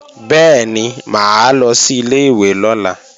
Bẹ́ẹ̀ni, mà á lọ sí ilé-ìwé lọ́la